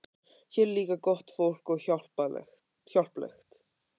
Hér er líka gott fólk og hjálplegt.